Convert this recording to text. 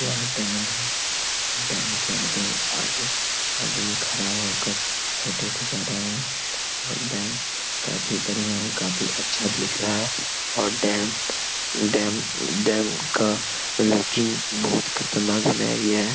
यह डैम है। डैम के आगे आगे आदमी खरा होकर फोटो खीचा रहा है और डैम काफी बढ़िया और काफी अच्छा दिख रहा है और डैम डैम डैम का लूकिंग बहुत खतरनाक बनाया गया है।